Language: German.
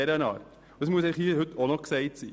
Das muss hier auch noch gesagt sein.